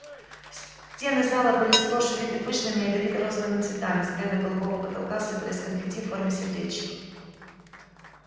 стены зала были сплошь увиты пышными ядовито-розовыми цветами с бледно-голубого потолка сыпались конфетти в форме сердечек